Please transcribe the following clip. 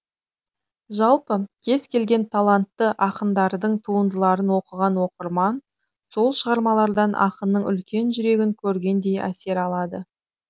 жалпы кез келген талантты ақындардың туындыларын оқыған оқырман сол шығармалардан ақынның үлкен жүрегін көргендей әсер алады